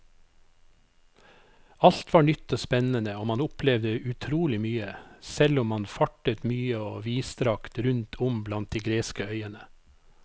Alt var nytt og spennende og man opplevde utrolig mye, selv om man fartet mye og vidstrakt rundt om blant de greske øyene.